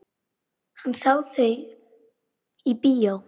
Hann sá þau í bíó.